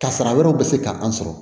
Kasara wɛrɛw bɛ se ka an sɔrɔ